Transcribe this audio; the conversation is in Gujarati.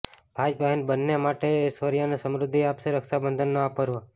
ભાઈ બહેન બન્ને માટે એશ્વર્ય અને સમૃદ્ધિ આપશે રક્ષબંધનનો આ પર્વ